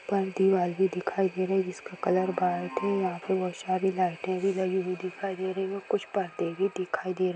ऊपर दीवाल भी दिखाई दे रही है जिसका कलर है यहाँ पे बहुत सारी लाइटें भी लगी हुई दिखाई दे रही है कुछ पर्दे भी दिखाई दे रहे हैं ।